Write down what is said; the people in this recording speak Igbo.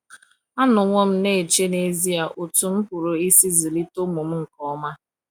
Anọwo m na - eche n’ezie otú m pụrụ isi zụlite ụmụ m nke ọma.